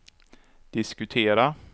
diskutera